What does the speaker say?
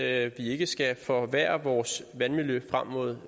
at vi ikke skal forværre vores vandmiljø frem mod